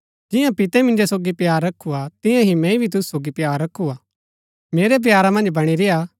जियां पितै मिन्जो सोगी प्‍यार रखु हा तियां ही मैंई भी तुसु सोगी प्‍यार रखु हा मेरै प्यारा मन्ज बणी रेय्आ